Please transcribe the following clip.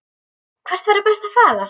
Hvert væri best að fara?